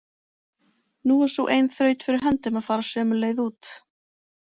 Nú var sú ein þraut fyrir höndum að fara sömu leið út.